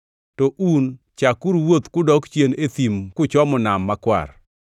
To un chakuru wuoth kudok chien e thim kuchomo Nam Makwar.